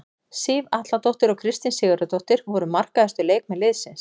Sif Atladóttir og Kristín Sigurðardóttir voru markahæstu leikmenn liðsins.